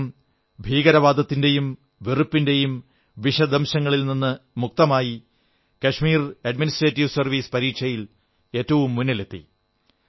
അദ്ദേഹം ഭീകരവാദത്തിന്റെയും വെറുപ്പിന്റെയും വിഷദംശത്തിൽ നിന്ന് മുക്തനായി കാശ്മീർ അഡ്മിനിസ്ട്രേറ്റീവ് സർവ്വീസ് പരീക്ഷയിൽ ഏറ്റവും മുന്നിലെത്തി